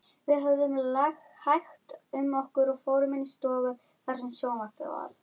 Minn vinur, hvað hefði þurft?